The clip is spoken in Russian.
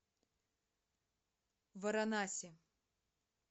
варанаси